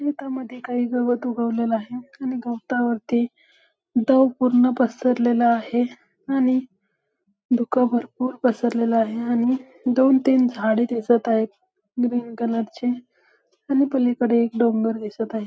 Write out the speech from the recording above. शेतामद्धे काही गवत उगवलेल आहे आणि गवतावरती दव पूर्ण पसरलेल आहे आणि धुक भरपूर पसरलेलं आहे आणि दोन तीन झाडे दिसत आहेत ग्रीन कलर ची आणि पलीकडे एक डोंगर दिसत आहे.